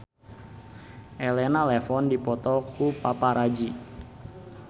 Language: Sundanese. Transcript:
Elena Levon dipoto ku paparazi